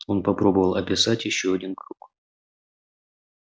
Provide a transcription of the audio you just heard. он попробовал описать ещё один круг